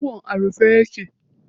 Shagon a rufe ne.